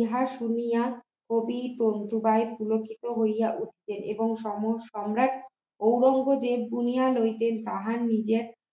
ইহা শুনিয়া কবি তন্তু বাই পুলকিত হইয়া উঠলেন এবং সম্রাট ঔরঙ্গজেব গুনিয়া লইতেন তাহা নিজের